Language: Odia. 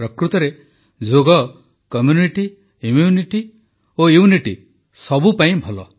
ପ୍ରକୃତରେ ଯୋଗ କମ୍ୟୁନିଟି ଇମ୍ୟୁନିଟି ଓ ୟୁନିଟି ସବୁପାଇଁ ଭଲ